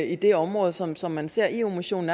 i det område som som man ser eu missionen